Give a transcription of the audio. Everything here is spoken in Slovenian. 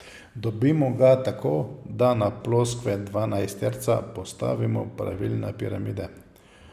Dobimo ga tako, da na ploskve dvanajsterca postavimo pravilne piramide.